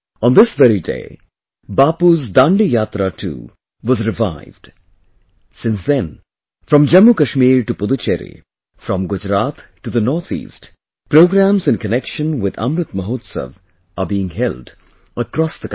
On this very day, Bapu's Dandi Yatra too was revived...since then, from JammuKashmir to Puduchery; from Gujarat to the Northeast, programmes in connection with Amrit Mahotsav are being held across the country